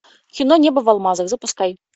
кино небо в алмазах запускай